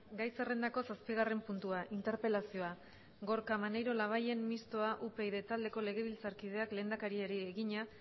gai zerrendako zazpigarren puntua interpelazioa gorka maneiro labayen mistoa upyd taldeko legebiltzarkideak lehendakariari egina